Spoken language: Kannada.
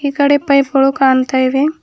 ಕಡೆ ಪೈಪ್ ಗಳು ಕಾಣ್ತಾ ಇವೆ.